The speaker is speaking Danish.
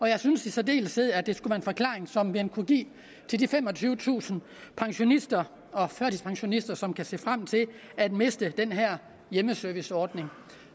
jeg synes i særdeleshed at det skal være en forklaring som man kunne give de femogtyvetusind pensionister og førtidspensionister som kan se frem til at miste den her hjemmeserviceordning